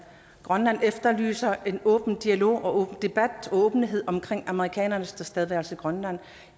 grønland efterlyser en åben dialog og en åben debat og åbenhed om amerikanernes tilstedeværelse i grønland